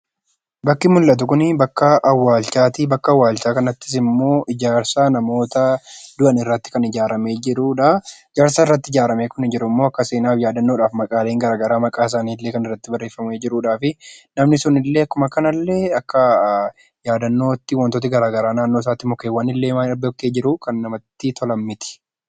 Bakki mul'atu Kun bakka awwaalchaati . Bakki awwalchaa Kunis immoo ijaarsa namoota du'an irratti kan ijaarrame jirudha. Ijaarsa kana irratti immoo yaadannoodhaaf maqaan isaani irratti barreeffamee kan jirudha.